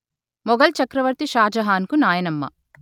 మొఘల్ చక్రవర్తి షాజహాన్ కు నాయనమ్మ